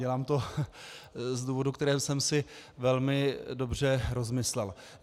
Dělám to z důvodů, které jsem si velmi dobře rozmyslel.